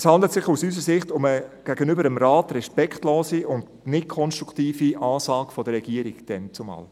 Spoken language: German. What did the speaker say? Es handelt sich aus unserer Sicht um eine gegenüber dem Rat respektlose und nicht konstruktive Ansage der Regierung damals.